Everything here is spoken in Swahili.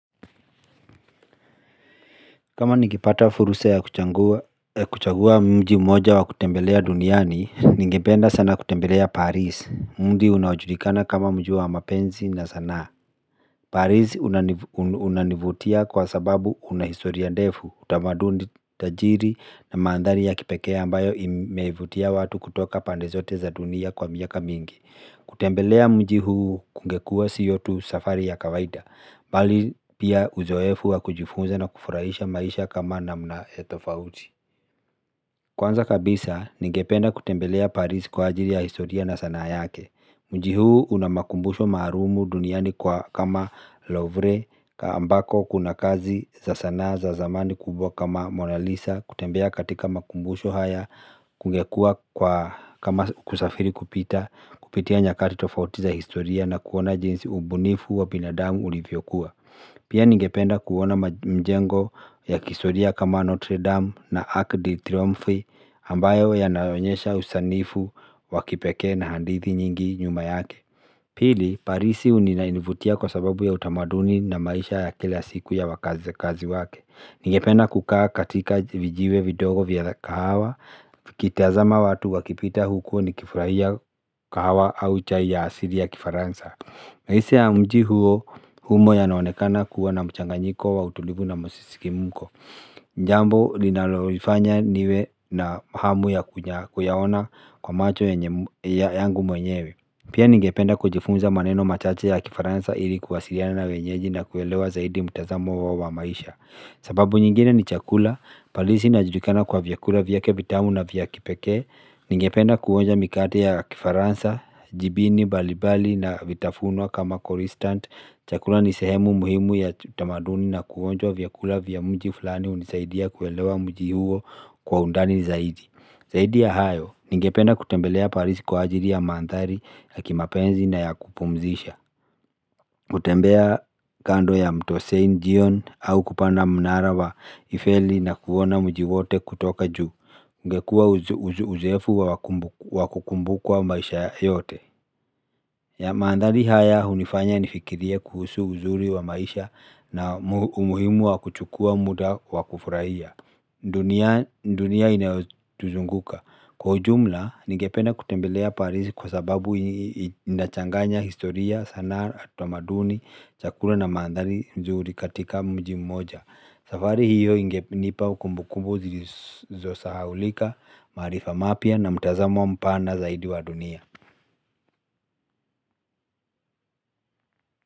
Kama ninegepata fursa ya kuchagua mji mmoja wa kutembelea duniani, ningependa sana kutembelea Paris. Mji unaoajulikana kama mji wa mapenzi na sanaa. Paris unanivutia kwa sababu unahistoria ndefu, utamaduni utajiri na mandhari ya kipekee ambayo imevutia watu kutoka pande zote za dunia kwa miaka mingi. Kutembelea mji huu kungekua sio tu safari ya kawaida Bali pia uzoefu wa kujifunza na kufurahisha maisha kama namna tofauti Kwanza kabisa, ningependa kutembelea paris kwa ajili ya historia na sanaa yake mji huu una makumbusho maalumu duniani kwa kama Lovre ambako kuna kazi za sanaa za zamani kubwa kama Monalisa kutembea katika makumbusho haya kungekuwa kwa kama kusafiri kupita Kupitia nyakati tofauti za historia na kuona jinsi ubunifu wa binadamu ulivyokuwa Pia ningependa kuona mjengo ya kihistoria kama Notre Dame na Arc de Triomphe ambayo yanayoonyesha usanifu wa kipekee na hadithi nyingi nyuma yake Pili, Paris inanivutia kwa sababu ya utamaduni na maisha ya kila siku ya wakazi wake Ningependa kukaa katika vijiwe vidogo vya kahawa nikitazama watu wakipita huku nikifurahia kahawa au chai ya asili ya kifaransa maisha ya mji huo humo yanaonekana kuwa na mchanganyiko wa utulivu na masisimko jambo linalolifanya niwe na hamu ya kuyaona kwa macho yangu mwenyewe Pia ningependa kujifunza maneno machache ya kifaransa ili kuwasiliana na wenyeji na kuelewa zaidi mtazamo wa maisha sababu nyingine ni chakula, Paris inajulikana kwa vyakula vyake vitamu na vya kipekee Ningependa kuonja mikate ya kifaransa, jibini, mbali mbali na vitafunwa kama kroisanti chakula ni sehemu muhimu ya tamaduni na kuonja vyakula vya mji fulani hunisaidia kuelewa mji huo kwa undani zaidi Zaidi ya hayo, ningependa kutembelea paris kwa ajili ya mandhari ya kimapenzi na ya kupumzisha kutembea kando ya mto siene jon au kupanda mnara wa Eiffeli na kuona mji wote kutoka ju ungekuwa uzoefu wa kukumbukwa maisha yote mandhari haya hunifanya nifikirie kuhusu uzuri wa maisha na umuhimu wa kuchukua muda wa kufurahia dunia inayotuzunguka Kwa ujumla, ningependa kutembelea paris kwa sababu inachanganya historia, sanaa, utamaduni, chakula na mandhari nzuri katika mji mmoja. Safari hiyo ingenipa kumbu kumbu zisizosahaulika, maarifa mapya na mtazamo mpana zaidi wa dunia.